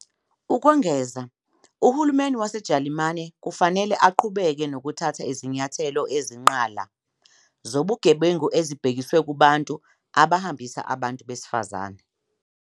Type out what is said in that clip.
Ukwengeza, uhulumeni waseJalimane kufanele aqhubeke nokuthatha izinyathelo ezinqala zobugebengu ezibhekiswe kubantu abahambisa abantu besifazane.